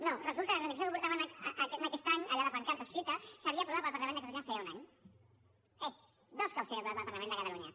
no resulta que la reivindicació que portaven aquest any allà a la pancarta escrita s’havia aprovat pel parlament de catalunya feia un any eh dos cops s’havia aprovat pel parlament de catalunya